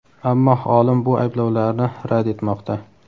Ammo olim bu ayblovlarni rad etmoqda.